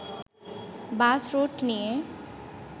বাস route নিয়ে